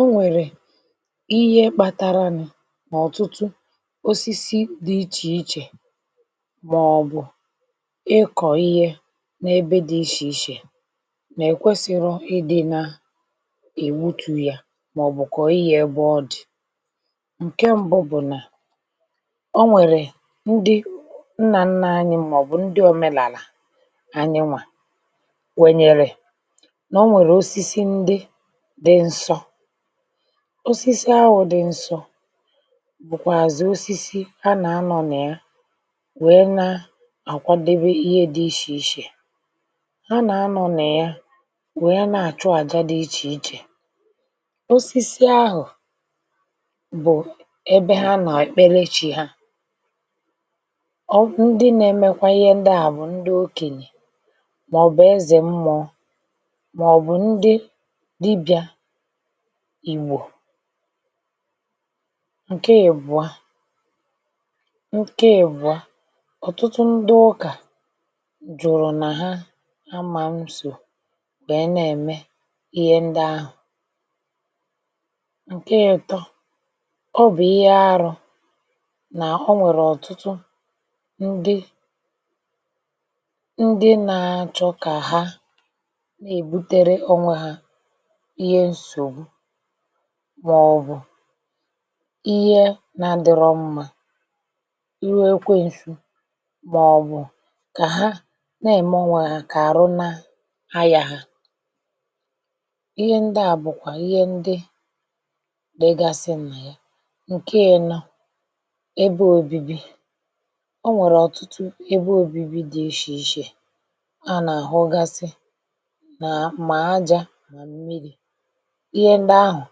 O nwèrè ihe kpataranu nà ọ̀tụtụ osisi dị̇ ichè ichè màọbụ̀ ịkọ̀ ihe n’ebe dị̇ ichè ichè nà-èkwesirọ idị na-èwutù ya màọbụ̀ kọ̀ iyė ebe ọ dị̀. Nke mbụ bụ̀ nà, o nwèrè ndị nnà nnà anyị màọbụ̀ ndị òmèlà àlà anyịnwà kwènyere na o nwèrè osisi ǹdi dị̇ ǹsọ. Osisi ahụ̇ dị̇ ǹsọ,̇ bụ̀kwàzị̀ osisi ha nà-anọ̇ nà ya, wèe na-àkwadebe ihe dị ichè ichè. Ha nà-anọ̇ nà ya wèe na-àchụ àjà dị ichè ichè. Osisi ahụ̀ bụ̀ ebe ha nà-ekperechi ha. ọ ndị nȧ-emekwa ihe ndị à bụ̀ ndị okènyè, màọ̀bụ̀ ezè mmụọ, màọ̀bụ̀ ndị dibị̇a Igbò. Nkè ibụ̀a, ǹke ibụ̀a, ọ̀tụtụ ndị ụkà jụ̀rụ̀ nà ha, ha mà mso bèe na-ème ihe ndị ahụ̀. Nkè itọ, ọ bụ̀ ihe aru̇ nà o nwèrè ọ̀tụtụ ndị ndị na-achọ̇kà ha na-èbutere onwe ha ihe nsògbu màọ̀bụ̀ ihe na-adịrọ mmȧ, iwe ekweǹsù màọ̀bụ̀ kà ha na-ème ọnwè hà kà arụ na ayà hà. Ihe ndị à bụ̀kwà ihe ndị di gasị nà ya. Nkè inọ, ebe òbibi; o nwèrè ọ̀tụtụ ebe òbibi dị̇ ishè ishè a nà-àhụ gasị, na ah, ma àjà. Ihe ndị ahụ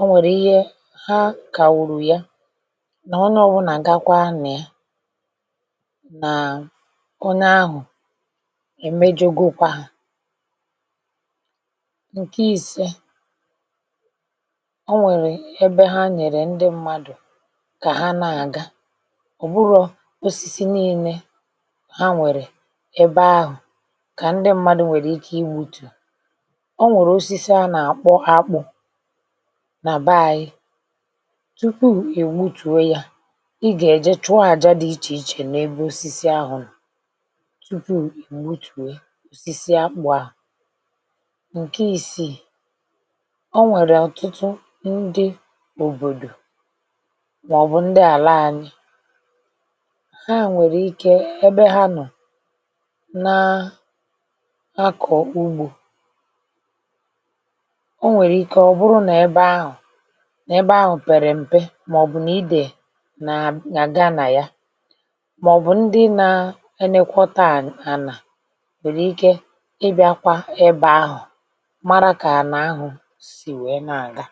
o nwèrè ihe ha kàwùrù ya nà onye ọ̀bụlà gakwa na yà,̇nà onye ahụ̀ èmejȯgokwà. Nkẹ̀ ise, o nwèrè ebe ha nyèrè ndị mmadụ̀ kà ha nà-àga, ọ̀ bụrọ̇ osisi niilė ha nwèrè ebe ahụ̀ kà ndị mmadụ̇ nwèrè ike ị wùtù. O nwèrè osisi a na-akpọ̀ akpụ̀ nà baȧnyị.̇ Tupu ì wutùwe yȧ, ị gà-èje chụọ àja dị̇ ichè ichè n’ebe osisi ahụ̀ no, tupu ì wutùwe osisi akpụ̀ ahụ. Nkè ìsì, ọ nwèrè ọ̀tụtụ ndị òbòdò, màọ̀bụ̀ ndị àla ȧnyị ̇ hà nwèrè ike ebe ha nọ̀ na-akọ̀kwa ugbȯ. O nwèrè ikė ọ̀ bụrụ n’ebe ahụ̀, n’ebe ahụ̀ pèrè m̀pe màọ̀bụ̀ nà idè nà nà-àga nà ya, màọ̀bụ̀ ndi na-ẹnekwọta ànà, ànà, nwèrè ike ịbịȧkwa ẹbẹ ahụ̀ mara kà ànà ahụ̀ sì wèe nà àga.